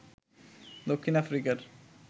দক্ষিণ আফ্রিকার